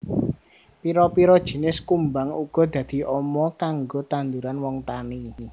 Pira pira jinis kumbang uga dadi ama kanggo tanduran wong tani